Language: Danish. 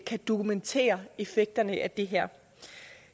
kan dokumentere effekterne af det her